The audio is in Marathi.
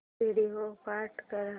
व्हिडिओ स्टॉप कर